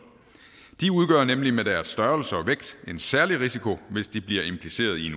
de udgør nemlig med deres størrelse og vægt en særlig risiko hvis de bliver impliceret i